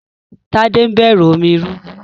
Tade n bẹrù omi rúru.